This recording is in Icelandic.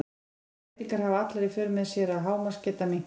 þessar breytingar hafa allar í för með sér að hámarksgeta minnkar